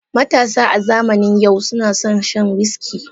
Matasa a zamanin yau suna son shan wiski.